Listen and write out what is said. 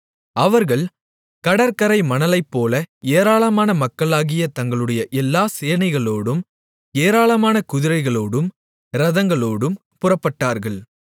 அவர்கள் கடற்கரை மணலைப்போல ஏராளமான மக்களாகிய தங்களுடைய எல்லா சேனைகளோடும் ஏராளமான குதிரைகளோடும் இரதங்களோடும் புறப்பட்டார்கள்